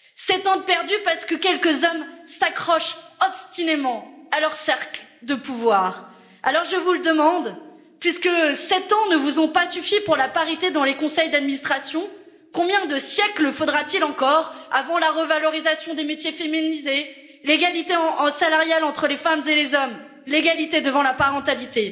Sept ans de perdus parce que quelques hommes s'accrochent obstinément à leur cercle de pouvoir. Alors je vous le demande, puisque sept ans ne vous ont pas suffi pour la parité dans les conseils d'administration, combien de siècles faudra t il encore avant la revalorisation des métiers féminisés, l'égalité salariale entre les femmes et les hommes, l'égalité devant la parentalité?